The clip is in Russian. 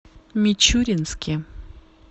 мичуринске